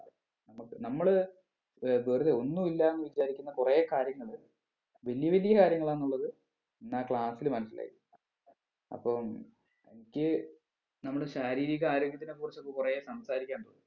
നമ്മക്ക് നമ്മള് ഏർ വെറുതെ ഒന്നൂല്ലാന്ന് വിചാരിക്കുന്ന കൊറേ കാര്യങ്ങള് വലിയ വലിയ കാര്യങ്ങളാന്നുള്ളത് ഇന്ന് ആ class ൽ മനസ്സിലായി അപ്പം എനിക്ക് നമ്മുടെ ശാരീരിക ആരോഗ്യത്തിനെ കുറിച്ചൊക്കെ കുറേ സംസാരിക്കാനുണ്ട്